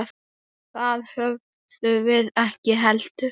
Það höfðum við ekki heldur.